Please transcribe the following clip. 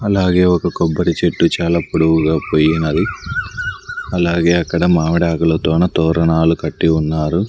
అలాగే ఒక కొబ్బరి చెట్టు చాలా పొడవుగా పోయినది అలాగే అక్కడ మావిడాకులతోన తోరణాలు కట్టి ఉన్నారు.